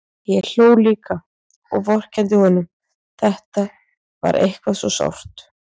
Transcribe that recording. Ég hló líka og vorkenndi honum, þetta var eitthvað svo sárt.